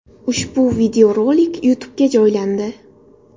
Ushbu videorolik YouTube’ga joylandi .